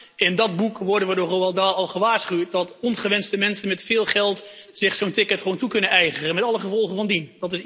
Maar in dat boek worden we door Roald Dahl al gewaarschuwd dat ongewenste mensen met veel geld zich zo'n ticket gewoon toe kunnen eigenen, met alle gevolgen van dien.